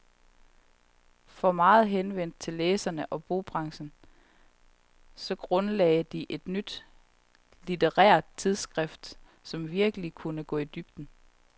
For meget henvendt til læserne og bogbranchen, så grundlagde de et nyt litterært tidsskrift, som virkelig kunne gå i dybden.